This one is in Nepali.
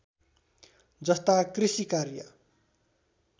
जस्ता कृषि कार्य